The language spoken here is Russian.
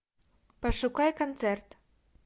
пошукай концерт